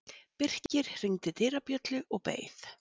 Birkir hringdi dyrabjöllu og beið.